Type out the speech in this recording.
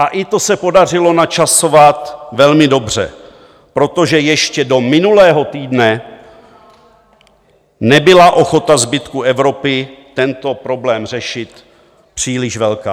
A i to se podařilo načasovat velmi dobře, protože ještě do minulého týdne nebyla ochota zbytku Evropy tento problém řešit příliš velká.